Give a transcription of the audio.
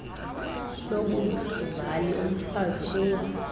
yobuzali kumfazi uwa